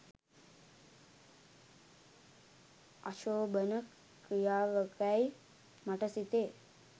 අශෝභන ක්‍රියාවකැයි මට සිතේ